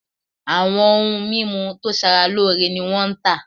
Awọn oun mimu to sara loore ni wọn n ta